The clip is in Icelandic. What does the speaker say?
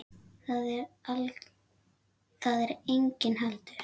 Þar var enginn heldur.